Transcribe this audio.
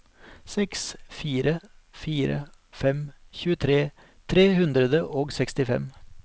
seks fire fire fem tjuetre tre hundre og sekstifem